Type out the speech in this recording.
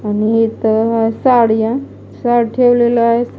अनि हित हाय साड्या शर्ट ठेवलेलं हाय.